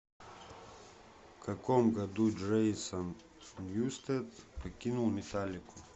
в каком году джейсон ньюстед покинул металлику